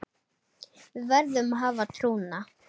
Við verðum að hafa trúna